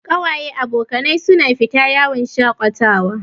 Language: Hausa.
Kawaye/abokanai su na fita yawon shaƙatawa